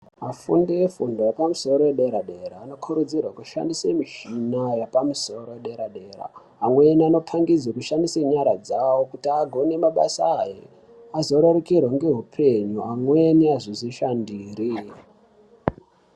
Afundi efundo yepamusoro yedera dera anokurudzirwa ashandise mushina yepamusoro yedera dera. Amweni anopangidzwa kushandisa nyara dzavo kuti agone mabasa avo azorerukirwa ngeupenyu amweni azozvishandira.